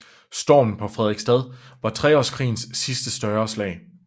Stormen på Frederiksstad var Treårskrigens sidste større slag